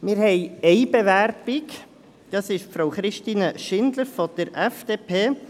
Wir haben eine Bewerbung: Frau Christine Schindler von der FDP.